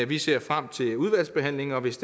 vi ser frem til udvalgsbehandlingen og hvis